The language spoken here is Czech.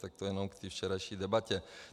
Tak to jenom k té včerejší debatě.